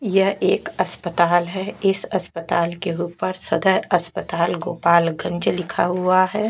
यह एक अस्पताल है इस अस्पताल के ऊपर सदर अस्पताल गोपालगंज लिखा हुआ है।